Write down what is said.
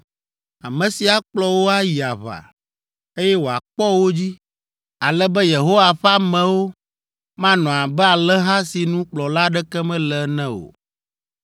ame si akplɔ wo ayi aʋa, eye wòakpɔ wo dzi, ale be Yehowa ƒe amewo manɔ abe alẽha si nu kplɔla aɖeke mele ene o.”